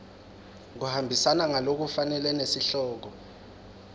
kuhambisana ngalokufanele nesihloko